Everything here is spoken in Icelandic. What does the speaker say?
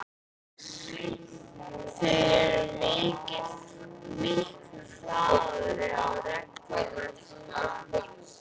Þeir eru miklu harðari á reglunum eftir að